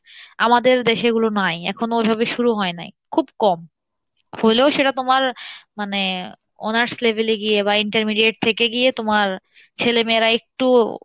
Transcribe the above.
আমাদের দেশে ওগুলো নাই এখন ওইভাবে শুরু হয় নাই খুব কম, হলেও সেটা তোমার মানে honours level এ গিয়ে বা intermediate থেকে গিয়ে তোমার ছেলে মেয়েরা একটু